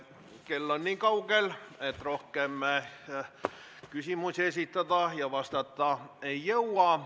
Kell on nii kaugel, et rohkem me küsimusi esitada ja neile vastata ei jõua.